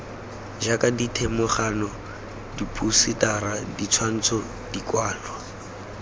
jaaka dithedimogane diphousetara ditshwantsho dikwalwa